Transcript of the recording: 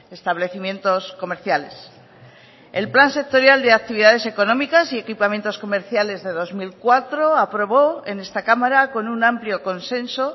establecimientos comerciales el plan sectorial de actividades económicas y equipamientos comerciales de dos mil cuatro aprobó en esta cámara con un amplio consenso